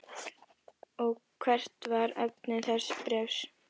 Og hvert var efni þess bréfs?